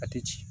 A tɛ ci